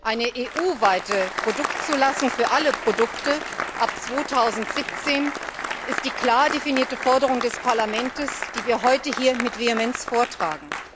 Eine EU weite Produktzulassung für alle Produkte ab 2017 ist die klar definierte Forderung des Parlaments, die wir heute hier mit Vehemenz vortragen.